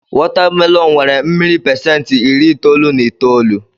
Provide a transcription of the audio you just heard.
Wọta melọn nnwere mmiri pasentị iri itoolu na itoolu.